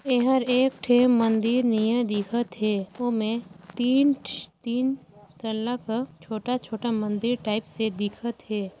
एहर एक ठे मंदिर ने दिखा थे तीन ठी तीन तल्ला का छोटा-छोटा मंदिर टाइप से दिखत हे।